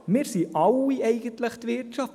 Wir alle sind eigentlich die Wirtschaft.